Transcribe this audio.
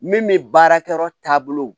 Min bɛ baarakɛyɔrɔ taabolo